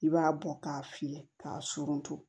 I b'a bɔ k'a fiyɛ k'a surun